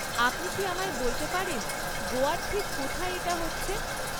আপনি কি আমায় বলতে পারেন গোয়ার ঠিক কোথায় এটা হচ্ছে?